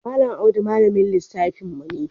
Malam Audu ne malamin lissafin mu.